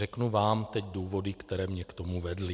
Řeknu vám teď důvody, které mě k tomu vedly.